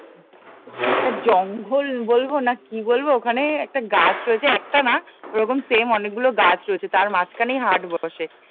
একটা জঙ্গল বলবো না কি বলবো ওখানে একটা গাছ রয়েছে একটা না ওরকম সেম অনেকগুলো গাছ রয়েছে তার মাঝখানেই হাট বসে